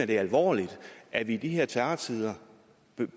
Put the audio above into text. det er alvorligt at vi i de her terrortider